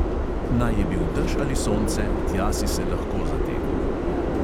Naj je bil dež ali sonce, tja si se lahko zatekel.